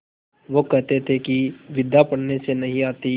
वह कहते थे कि विद्या पढ़ने से नहीं आती